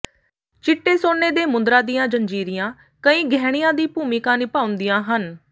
ਚਿੱਟੇ ਸੋਨੇ ਦੇ ਮੁੰਦਰਾਂ ਦੀਆਂ ਜੰਜੀਰੀਆਂ ਕਈ ਗਹਿਣਿਆਂ ਦੀ ਭੂਮਿਕਾ ਨਿਭਾਉਂਦੀਆਂ ਹਨ